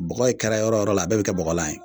Bɔgɔ ye kɛra yɔrɔ yɔrɔ la a bɛɛ bɛ kɛ bɔgɔlan ye.